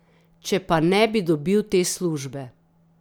Če pa ne bi dobil te službe ...